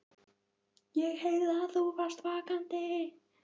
ÉG HEYRÐI AÐ ÞÚ VARST VAKANDI.